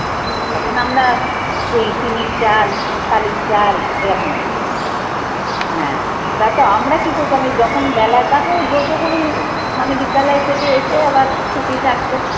তখন আমরা টিনের চাল, টালির চাল এরকম ছিল। হ্যাঁ এবার তো আমরা কি করতাম এই যখন বেলায় তখন ব্রত করি মানে বিদ্যালয় থেকে এসে আবার ছুটি থাকতো